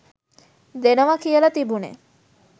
දෙනවා කියල තිබුනෙ.